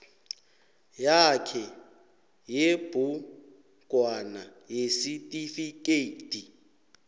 yakhe yebhugwana yesitifikedi